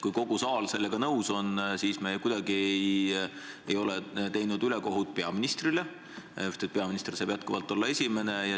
Kui kogu saal sellega nõus on, siis ei ole me ju kuidagi teinud ülekohut peaministrile, kes saab endiselt olla esimene.